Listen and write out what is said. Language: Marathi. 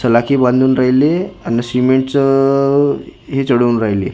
सलाखी बांधून राहिले आणि सिमेंट चं हे चढून राहिले न --